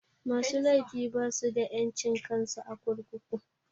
Musu laifi basu da ƴancin kansu a kurkuku.